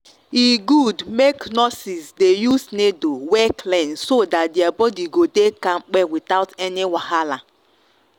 e good make nurses dey use needle wey clean so that their body go dey kampe without any wahala.